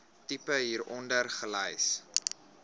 tipe hieronder gelys